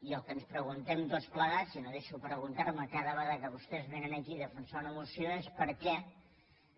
i el que ens preguntem tots plegats i no deixo de preguntar m’ho cada vegada que vostès vénen aquí a defensar una moció és per què